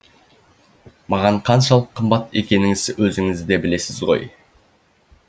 маған қаншалық қымбат екеніңіз өзіңіз де білесіз ғой